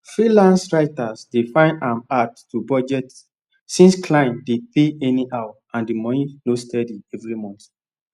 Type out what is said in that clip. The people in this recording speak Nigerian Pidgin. freelance writers dey find am hard to budget since clients dey pay anyhow and the money no steady every month